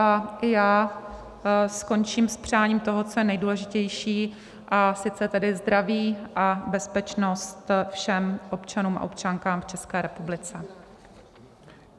A já skončím s přáním toho, co je nejdůležitější, a sice tedy zdraví a bezpečnost všem občanům a občankám v České republice.